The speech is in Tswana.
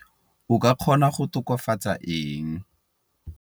O ka kgona go tokafatsa eng?